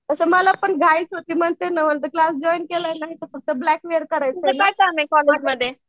तसं मलापण घाईच होती क्लास जॉईन केलाय ना तसं ब्लॅकमेल